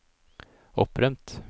opprømt